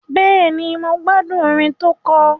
Bẹ́ẹ̀ni, mo gbádùn orin tó kọ.